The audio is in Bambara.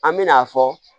An me na fɔ